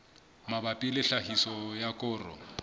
mabapi le tlhahiso ya koro